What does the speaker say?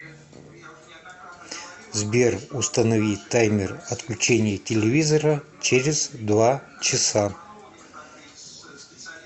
сбер установи таймер отключения телевизора через два часа